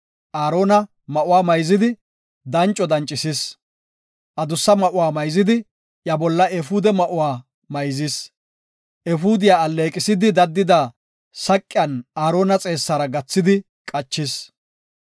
Aarona ma7uwa mayzidi, danco dancisis; adussa ma7uwa mayzidi iya bolla efuude ma7uwa mayzis. Efuudiya alleeqisidi daddida saqiyan Aarona xeessara gathidi qachis.